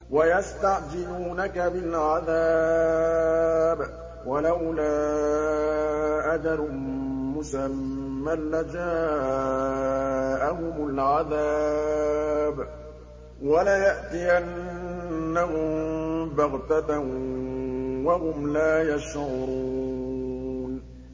وَيَسْتَعْجِلُونَكَ بِالْعَذَابِ ۚ وَلَوْلَا أَجَلٌ مُّسَمًّى لَّجَاءَهُمُ الْعَذَابُ وَلَيَأْتِيَنَّهُم بَغْتَةً وَهُمْ لَا يَشْعُرُونَ